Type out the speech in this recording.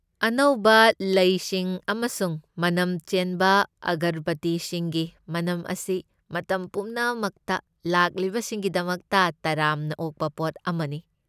ꯑꯅꯧꯕ ꯂꯩꯁꯤꯡ ꯑꯃꯁꯨꯡ ꯃꯅꯝ ꯆꯦꯟꯕ ꯑꯒꯔꯕꯇꯤꯁꯤꯡꯒꯤ ꯃꯅꯝ ꯑꯁꯤ ꯃꯇꯝ ꯄꯨꯝꯅꯃꯛꯇ ꯂꯥꯛꯂꯤꯕꯁꯤꯡꯒꯤꯗꯃꯛꯇ ꯇꯔꯥꯝꯅ ꯑꯣꯛꯄ ꯄꯣꯠ ꯑꯃꯅꯤ꯫